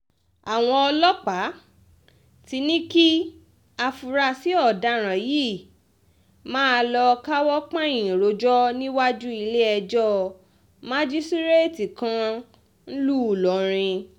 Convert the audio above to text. àwọn ọlọ́pàá ti ní kí àfúráṣí ọ̀daràn yìí máa lọ́ọ́ káwọ́ pọ́nyìn rojọ́ níwájú ilé-ẹjọ́ májísíréètì kan ńlùú ìlọrin